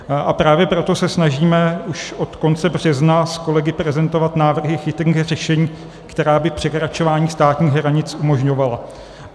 A právě proto se snažíme už od konce března s kolegy prezentovat návrhy chytrých řešení, která by překračování státních hranic umožňovala.